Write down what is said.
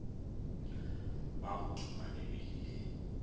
ba go tuma mebele le